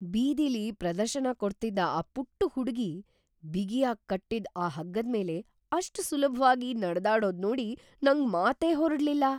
ಬೀದಿಲಿ ಪ್ರದರ್ಶನ ಕೊಡ್ತಿದ್ದ ಆ ಪುಟ್ಟು ಹುಡ್ಗಿ ಬಿಗಿಯಾಗ್ ಕಟ್ಟಿದ್‌ ಆ ಹಗ್ಗದ್ಮೇಲೆ ‌ಅಷ್ಟ್ ಸುಲಭ್ವಾಗಿ ನಡ್ದಾಡೋದ್ನೋಡಿ ನಂಗೆ ಮಾತೇ ಹೊರಡ್ಲಿಲ್ಲ.